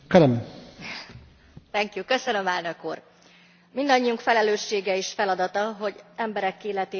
Mindannyiunk felelőssége és feladata, hogy emberek életét, méltóságát, alapvető jogait megvédjük bárhol a világban.